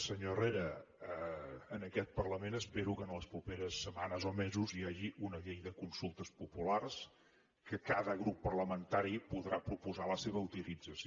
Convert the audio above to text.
senyor herrera en aquest parlament espero que en les properes setmanes o mesos hi hagi una llei de consultes populars que cada grup parlamentari podrà proposar la seva utilització